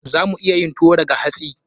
Za mu iya yin tuwo daga hatsi.